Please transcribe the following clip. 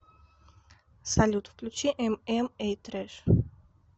салют включи эм эм эй трэш